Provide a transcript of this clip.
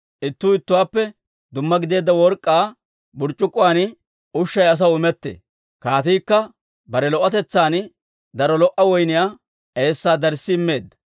Ittuu ittuwaappe dumma gideedda work'k'aa burc'c'ukkuwaan ushay asaw imettee; kaatiikka bare lo"otetsaan daro lo"a woyniyaa eessaa darssi immeedda.